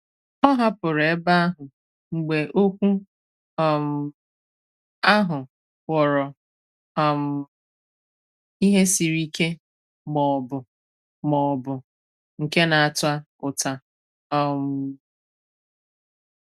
Ọ hàpụ̀rù èbè ahụ mgbe okwu um ahụ ghọ̀rọ̀ um ihe sịrì ike ma ọ̀bụ̀ ma ọ̀bụ̀ nke na-átà ụ́tà. um